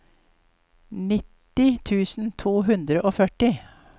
nitti tusen to hundre og førti